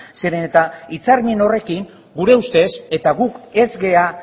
zeren eta hitzarmen horrekin gure ustez eta guk ez gara